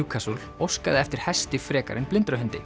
Newcastle óskaði eftir hesti frekar en